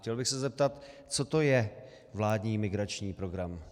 Chtěl bych se zeptat, co to je vládní migrační program.